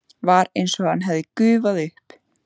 Var einsog hann hefði gufað upp.